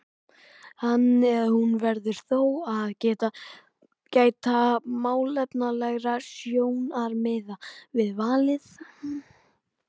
Hann eða hún verður þó að gæta málefnalegra sjónarmiða við valið.